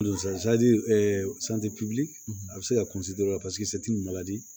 Don a bɛ se ka kunsi dɔ la paseke